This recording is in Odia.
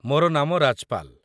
ମୋର ନାମ ରାଜପାଲ।